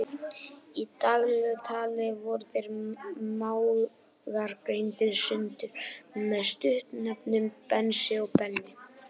Í daglegu tali voru þeir mágar greindir sundur með stuttnefnunum Bensi og Benni.